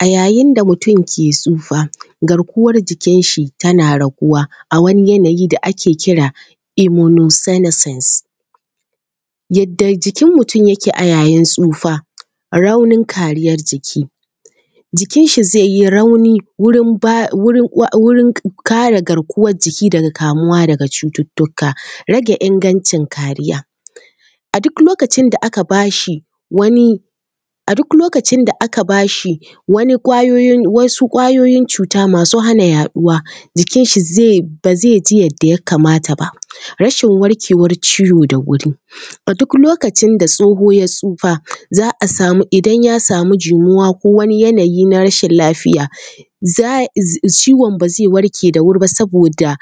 A yayin da mutum ke tsufa, garkuwar jikinshi tana raguwa a wani yanayi da ake kira, immunosenescence, yadda jikin mutum yake a yayin tsufa, raunin kariyar jiki, jikinshi zai yi rauni, wurin…. kare garkuwar jiki daga kamuwa daga cututtuka. Rage ingancin kariya: a duk lokacin da aka ba shi wani, a duk lokacin da aka ba shi wani, wasu ƙwayoyin cuta masu hana yaɗuwa, jikinshi zai, ba zai ji yadda ya kamata ba. Rashin warkewar ciwo da wuri: a duk lokacin da tsoho ya tsufa, za a samu idan ya samu jimuwa ko wani yanayi na rashin lafiya, ciwon ba zai warke da wuri ba saboda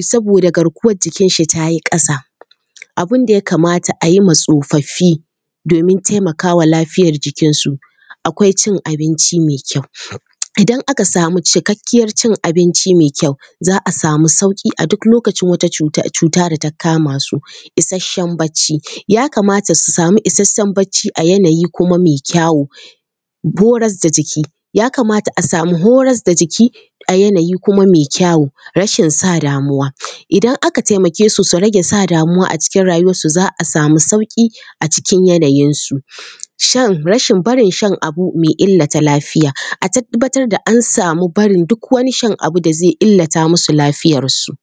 saboda garkuwar jikinshi ta yi ƙasa. Abin da ya kamata a yi ma Tsofaffi domin taimaka ma lafiyar jikinsu, akwai cin abinci mai kyau:- idan aka samu cikakkiyar cin abinci mai kyau, za a samu sauƙi a duk lokacin wat acuta da ta kama su. Isasshen barci: ya kamata su samu isasshen barci a yanayi kuma mai kyawu. Horas da jiki:- ya kamata a samu horas da jiki a yanayi kuma mai kyawu. Rashin sa damuwa:- idan aka taimake su, su rage sa damuwa a cikin rayuwarsu za a samu sauƙi a cikin yanayinsu. Shan rashin barin shan abu mai illata lafiya:- a tabbatar da an samu barin duk wani shan abu da zai illata musu lafiyarsu.